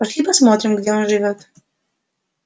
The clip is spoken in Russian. пошли посмотрим где он живёт